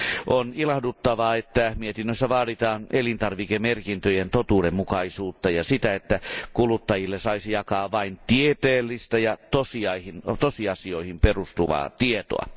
On ilahduttavaa, että mietinnössä vaaditaan elintarvikemerkintöjen totuudenmukaisuutta ja sitä, että kuluttajille saisi jakaa vain tieteellistä ja tosiasioihin perustuvaa tietoa.